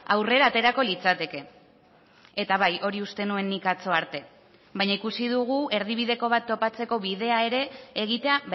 aurrera aterako litzateke eta bai hori uste nuen nik atzo arte baina ikusi dugu erdibideko bat topatzeko bidea ere egitea